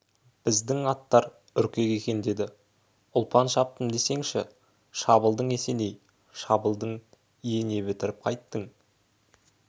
біздің аттар үркек екендеді ұлпан шаптым десеңші шабылдың есеней шабылдың ие не бітіріп қайттың